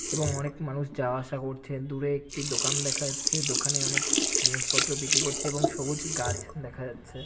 এবং অনেক মানুষ যাওয়া আসা করছেন। দূরে একটি দোকান দেখা যাচ্ছে। দোকানে অনেক জিনিসপত্র বিক্রি করছে এবং সবুজ গাছ দেখা যাচ্ছে।